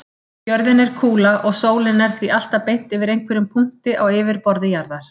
Jörðin er kúla og sólin er því alltaf beint yfir einhverjum punkti á yfirborði jarðar.